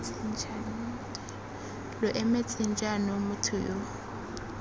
lo emetseng jaanong motho yo